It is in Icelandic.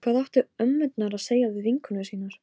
Hvað áttu ömmurnar að segja við vinkonur sínar?